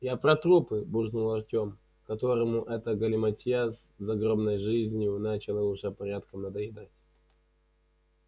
я про трупы буркнул артём которому эта галиматья с загробной жизнью начала уже порядком надоедать